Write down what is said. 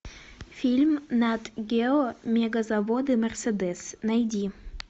фильм нат гео мегазаводы мерседес найди